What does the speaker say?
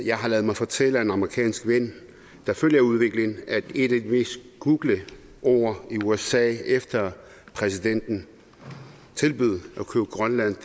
jeg har ladet mig fortælle af en amerikansk ven der følger udviklingen at et af de mest googlede ord i usa efter at præsidenten tilbød at købe grønland